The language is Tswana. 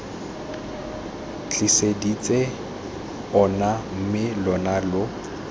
tliseditse ona mme lona lo